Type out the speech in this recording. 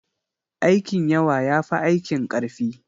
Aikin yawa ya fi aikin ƙarfi.